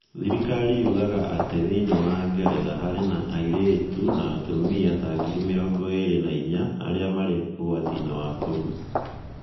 Thirikari yugaga atĩ thĩinĩ wa Ngeretha, harĩ na airĩtu na atumia ta ngiri mĩrongo ĩĩrĩ na inya arĩa marĩ ũgwati-inĩ wa kũrũa.